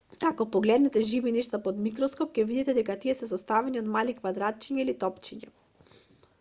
ако погледнете живи нешта под микроскоп ќе видите дека тие се составени од мали квадратчиња или топчиња